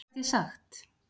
Hvað gat ég sagt?